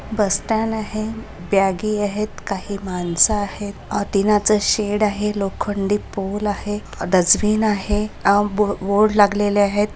बस stand आहे बॅगे आहेत काही माणस आहेत अतीनाच शेड आहे लोखंडी पोल आहे डसबिन आहे आब बोर्ड लागलेले आहेत.